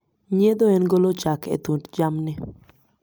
Nyiedho en golo chak e thund jamni.